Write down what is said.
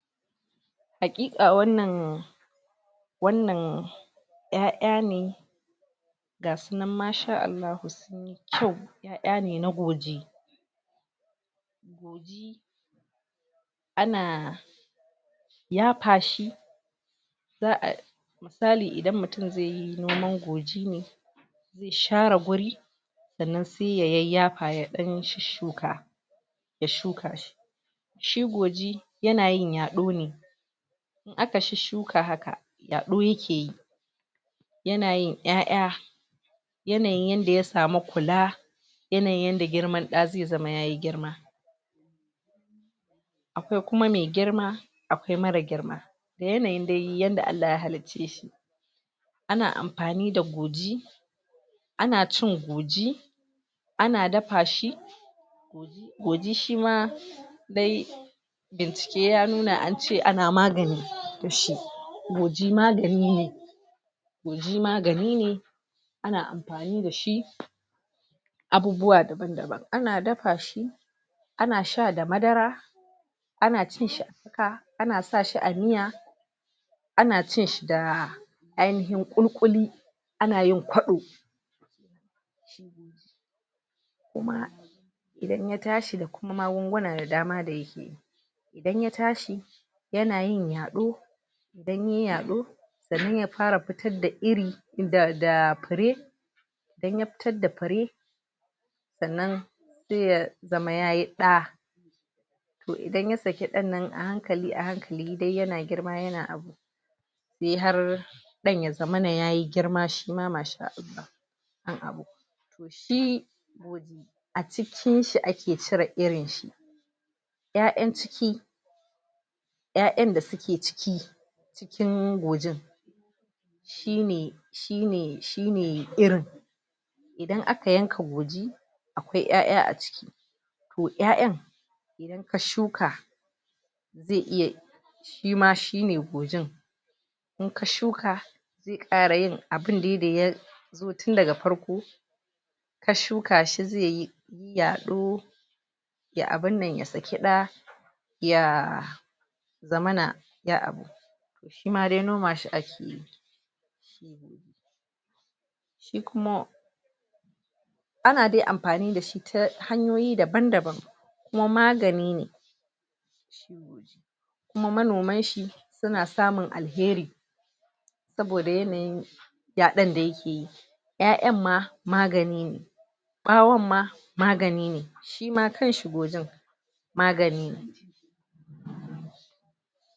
Haƙiƙa wannan wannan ƴaƴa ne ga sunan maa shaa Allahu. To ƴaƴa ne na goji. Ana yafa shi za'a misali idan mutum zai yi noman goji ne i share guri sannan sai ya yayyafa ya ɗan shusshuka, ya shuka. Shi goji ya na yin yaɗo ne aka shusshuka haka, yaɗo ya ke yi. Ya na yin ƴaƴa yanayin yanda ya samu kula, yanayin yanda girman ɗa zai zama yayi girma. Akwai kuma mai girma, akwai marar girma. Da yanayin dai yanda Allah ya halicce shi. Ana amfani da goji, ana amfani da goji, ana dafa goji shi ma dai bincike ya nuna an ce ana magani da shi. Goji magani ne, goji magani ne ana amfani da shi abubuwa daban-daban. Ana dafa shi, ana sha da madara, ana cin shi haka, ana sa a miya, ana cin shi da ainihin ƙuli-ƙuli, ana yin kwaɗo. Kuma idan ya tashi da kuma magunguna da dama da ya. Idan ya tashi, ya na yin yaɗo idan yayi yaɗo sannan ya fara fitar da iri, da da fure. Idan ya fitar da fure, sannan sai ya zama yayi ɗa. To idan ya saki ɗan nan a hankali a hankali dai ya na girma ya na yi har ɗan ya zamana yayi girma shima maa shaa Allah. a cikin shi ake cire irin shi. Ƴaƴan ciki ƴaƴan da su ke ciki cikin gojin shi ne, shi ne, shi ne irin. Idan aka yanka goji akwai ƴaƴa a ciki. To ƴaƴan, a shuka zai iya shi ma shi ne gojin. In ka shuka ya fara yin abun dai da ya tun daga farko ka shuka shi zai yi yaɗo ya abun nan ya saki ɗa, ya zamana ya a. Shi ma dai noma shi ake. Shi kuma ana dai amfani da shi ta hanyoyi daban-daban kuma magani ne, kuma manoman shi, su na samun alheri. Saboda yanayin yaɗon da ya ke yi ƴaƴan ma magani ne. Ɓawon ma magani ne. Shi ma kanshi gojin magani ne.